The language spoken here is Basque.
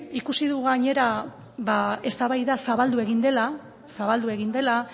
ikusi dugu gainera ba eztabaida zabaldu egin dela zabaldu egin dela